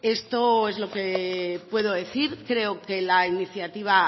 esto es lo que puedo decir creo que la iniciativa